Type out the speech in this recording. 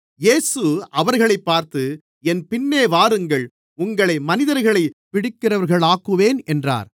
இயேசு அவர்களைப் பார்த்து என் பின்னே வாருங்கள் உங்களை மனிதர்களைப் பிடிக்கிறவர்களாக்குவேன் என்றார்